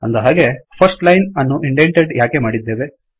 ಅಂದಹಾಗೆ first line ಅನ್ನು indented ಯಾಕೆ ಮಾಡಿದ್ದೇವೆ160